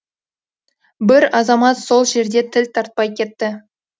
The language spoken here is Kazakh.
бір азамат сол жерде тіл тартпай кетті